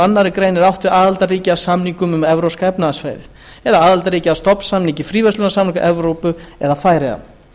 annarri grein er átt við aðildarríki að samningnum um evrópska efnahagssvæðið aðildarríki að stofnsamningi fríverslunarsamtaka evrópu eða færeyjar